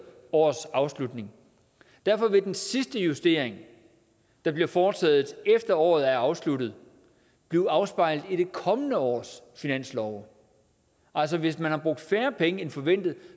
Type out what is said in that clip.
årets afslutning derfor vil den sidste justering der bliver foretaget efter at året er afsluttet blive afspejlet i det kommende års finanslov altså hvis man har brugt færre penge end forventet